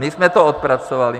My jsme to odpracovali.